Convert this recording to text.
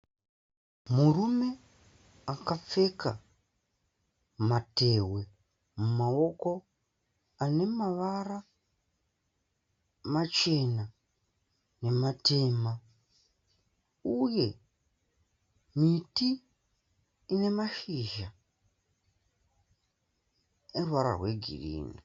Murume akapfeka matehwe mumaoko ane mavara machena nematema. Uye miti ine mashizha eruvara rwegirini.